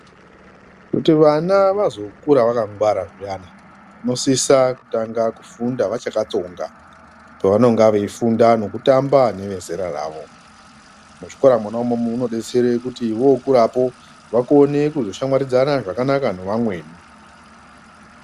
Kuti vana vazokura vakangwara zviyana unosisa kutanga kufunda vachakatsonga. Pavanonga veifunda nekutamba nevezera ravo. Muzvikora mona imomo munobetsere kuti vokurapo vakone kuzoshamwaridzana zvakanaka nevamweni.